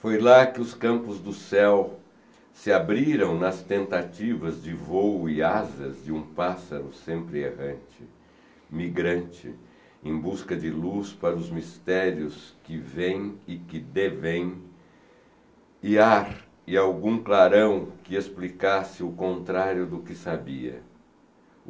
Foi lá que os campos do céu se abriram nas tentativas de voo e asas de um pássaro sempre errante, migrante, em busca de luz para os mistérios que vêm e que deveêm, e ar e algum clarão que explicasse o contrário do que sabia.